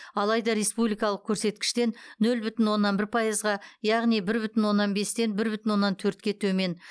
алайда республикалық көрсеткіштен нөл бүтін оннан бір пайызға яғни бір бүтін оннан бестен бір бүтін оннан төртке төмен